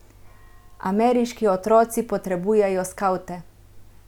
Ameriški otroci potrebujejo skavte!